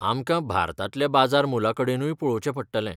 आमकां भारतांतल्या बाजार मोलाकडेनूय पळोवचें पडटलें.